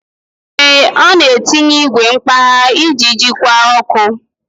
Ee, ọ na-etinye igwe mkpagha iji jikwa ọkụ.